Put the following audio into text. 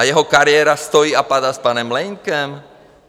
A jeho kariéra stojí a padá s panem Mlejnkem?